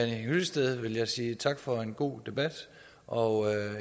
hyllested vil jeg sige tak for en god debat og